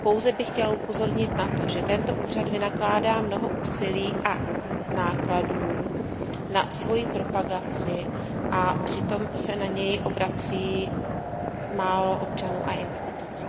Pouze bych chtěla upozornit na to, že tento úřad vynakládá mnoho úsilí a nákladů na svoji propagaci a přitom se na něj obrací málo občanů a institucí.